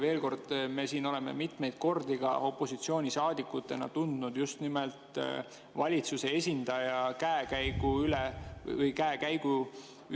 Veel kord, me siin oleme mitmeid kordi opositsioonisaadikutena tundnud muret just nimelt valitsuse esindaja käekäigu pärast.